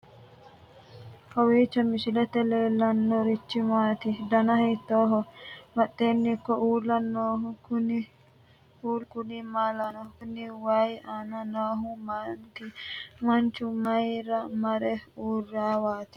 kowiicho misilete leellanorichi maati ? dana hiittooho ?abadhhenni ikko uulla noohu kuulu kuni maa lawannoho? kuni wayi aana noohu maati manchu mayra mare uurrinowaati